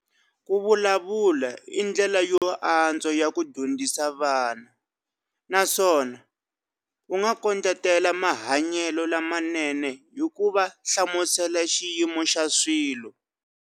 Ku vulavula i ndlela yo antswa ya ku dyondzisa vana na swona u nga kondletela mahanyelo lamanene hi ku va hlamusela xiyimo xa swilo.